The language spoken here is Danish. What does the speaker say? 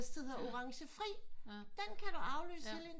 Der er også den der hedder orange fri den kan du aflyse helt indtil